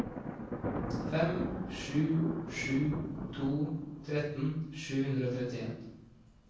fem sju sju to tretten sju hundre og trettien